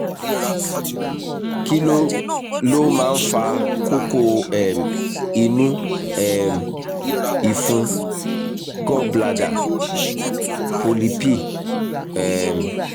kí ló ló máa ń fa kókó um inú um ìfun - gallbladder polyp? um